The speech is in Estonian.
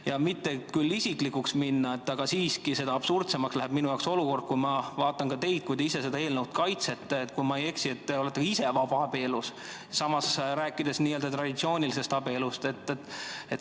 Ma ei taha küll mitte isiklikuks minna, aga siiski seda absurdsemaks läheb minu jaoks olukord, kui ma vaatan teid, kes te seda eelnõu kaitsete, aga kui ma ei eksi, siis te olete ka ise vabaabielus, samas räägite traditsioonilisest abielust.